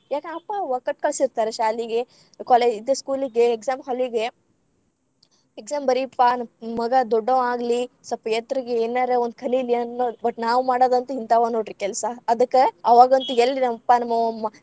ಯಾಕನ ಅಪ್ಪಾ ಅವ್ವಾ ಕಟ್ಟ ಕಳಸಿರ್ತಾರ ಶಾಲಿಗೆ college ಇದ school ಇಗೆ. exam hall ಇಗೆ. exam ಬರೀಪ್ಪಾ. ಮಗಾ ದೊಡ್ಡವಾಗ್ಲಿ ಸಪ್‌ ಎತ್ತರಗ್‌ ಏನರ್‌ ಒಂದ್ ಕಲೀಲಿ ಅನ್ನೋದ್‌ but ನಾವ್‌ ಮಾಡೊದಂತು ಹಿಂಥಾವ ನೋಡ್ರಿ ಕೆಲ್ಸಾ. ಅದಕ್ಕ ಅವಾಗಂತು ಎಲ್ಲಿ ನಮ್ಮಪ್ಪಾ ನಮ್ಮಅವ್ವಾ.